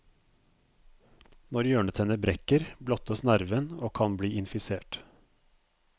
Når hjørnetenner brekker, blottes nerven og kan bli infisert.